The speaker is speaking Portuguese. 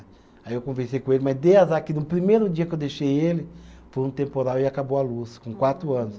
Aí eu conversei com ele, mas dei azar que no primeiro dia que eu deixei ele, foi um temporal e acabou a luz, com quatro anos.